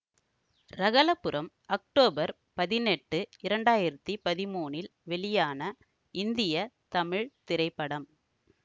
Ragalaipuram October பதினெட்டு இரண்டாயிரத்தி பதிமூனில் வெளியான இந்திய தமிழ் திரைப்படம்